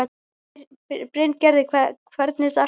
Bryngerður, hvernig er dagskráin?